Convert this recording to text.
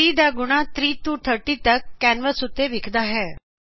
3 ਦਾ ਗੁਣਾ 3 ਤੋਂ 30 ਤੱਕ ਕੈਂਵਸ ਉੱਤੇ ਵਿਖਦਾ ਹੈਂ